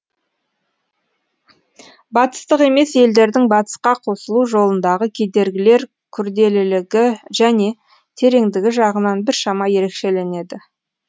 батыстық емес елдердің батысқа қосылу жолындағы кедергілер күрделілігі және тереңдігі жағынан біршама ерекшеленеді